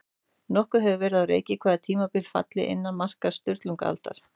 Nokkuð hefur verið á reiki hvaða tímabil falli innan marka Sturlungaaldar.